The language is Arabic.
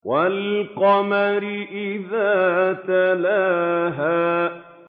وَالْقَمَرِ إِذَا تَلَاهَا